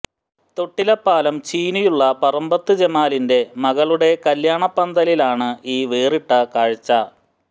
തൊട്ടില്പാലം ചീനിയുള്ള പറമ്പത്ത് ജമാലിൻെറ മകളുടെ കല്ല്യാണപ്പന്തലിലാണ് ഈ വേറിട്ട കാഴ്ച